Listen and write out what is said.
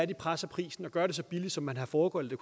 de presser prisen og gør det så billigt som man har foregøglet at